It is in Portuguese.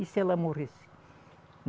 E se ela morresse?